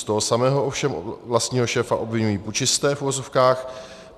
Z toho samého ovšem vlastního šéfa obviňují pučisté, v uvozovkách.